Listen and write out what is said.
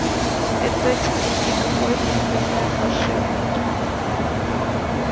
это тебе не какой-то интернет паршивый